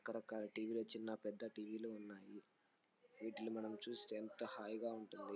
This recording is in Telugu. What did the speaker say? రక రకాల టీ_వి లో చిన్న పెద్ద టి_వి లు ఉన్నాయి. వీటిలో మనం చుస్తే ఎంత హాయిగా ఉంటుంది.